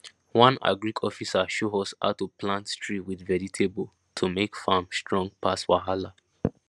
one agric officer show us how to plant tree with vegetable to make farm strong pass wahala